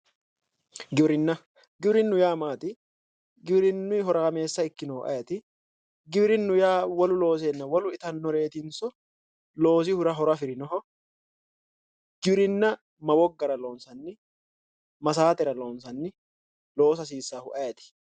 Giwirinna, giwirinnu yaa mayyaate? giwirinnunni horaamessa ikkinohu ayeeti? giwirinnu yaa wolu looseenna wolu itannoreetinso loosihura horo afirinoho, giwirinna ma woggara loonsanni? ma saatera loonsanni, loosa hasiisaahu ayeeti?